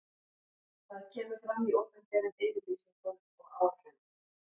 Það kemur fram í opinberum yfirlýsingum og áætlunum.